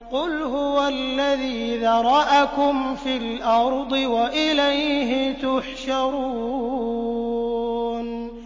قُلْ هُوَ الَّذِي ذَرَأَكُمْ فِي الْأَرْضِ وَإِلَيْهِ تُحْشَرُونَ